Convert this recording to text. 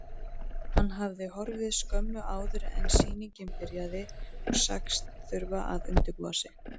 Hann hafði horfið skömmu áður en sýningin byrjaði og sagst þurfa að undirbúa sig.